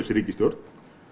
ríkisstjórn